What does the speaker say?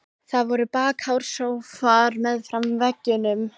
Það voru bakháir sófar meðfram veggjunum.